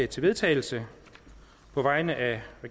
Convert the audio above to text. til vedtagelse på vegne af